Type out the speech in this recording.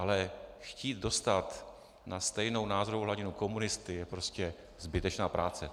Ale chtít dostat na stejnou názorovou hladinu komunisty je prostě zbytečná práce.